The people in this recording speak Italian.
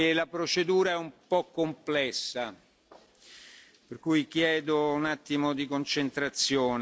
La procedura è un po' complessa, per cui chiedo un attimo di concentrazione.